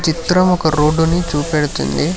చిత్రం ఒక రోడ్డు ని చూపెడుతుంది.